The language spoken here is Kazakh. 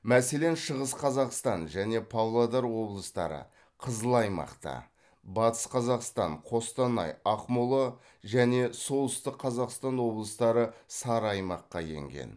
мәселен шығыс қазақстан және павлодар облыстары қызыл аймақта батыс қазақстан қостанай ақмола және солтүстік қазақстан облыстары сары аймаққа енген